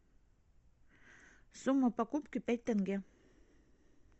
сумма покупки пять тенге